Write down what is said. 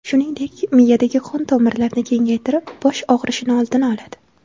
Shuningdek, miyadagi qon-tomirlarni kengaytirib, bosh og‘rishini oldini oladi.